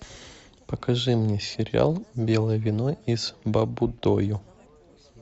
покажи мне сериал белое вино из баббудойу